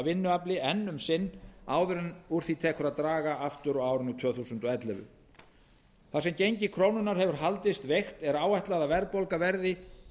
vinnuafli enn um sinn áður en úr því tekur að draga aftur á árinu tvö þúsund og ellefu þar sem gengi krónunnar hefur haldist veikt er áætlað að verðbólga verði